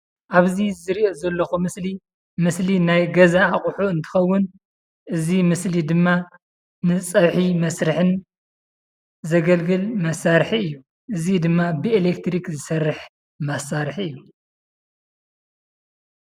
ኣብዚ ዝሪኦ ዘለኹ ምስሊ ምስሊ ናይ ገዛ ኣቑሑ እንትኸውን እዚ ምስሊ ድማ ንፀብሒ መስርሒ ን ዘገልግል መሳርሒ እዩ፡፡ እዚ ድማ ብኤለትሪክ ዝሰርሕ መሳርሒ እዩ፡፡